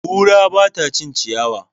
Kura ba ta cin ciyawa.